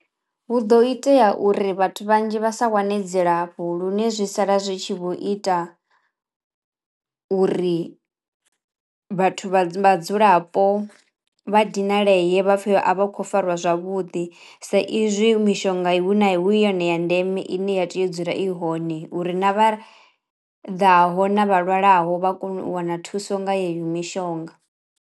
Hu do itea uri vhathu vhanzhi vha sa wane dzilafho lune zwi sala zwi tshi vho ita uri vhathu vha vhadzulapo vha dinaleye vha pfhe a vha khou fariwa zwavhuḓi, sa izwi mishonga i hu na hu yone ya ndeme i ne ya tea u dzula i hone uri na vha ḓaho na vha lwalaho vha kono u wana thuso nga yeneyo mishonga.